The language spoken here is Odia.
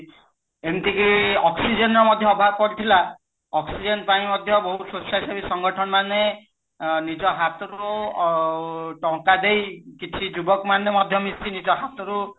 ଏମିତି କି oxygen ର ମଧ୍ୟ ଅଭାବ ପଡିଥିଲା oxygen ପାଇଁ ମଧ୍ୟ ବହୁତ ସ୍ବଛାଚାରୀ ସଂଗଠନ ମାନେ ଅ ନିଜ ହାତରୁ ଅ ଟଙ୍କା ଦେଇ କିଛି ଯୁବକ ମାନେ ମିଶି ନିଜ ହାତରୁ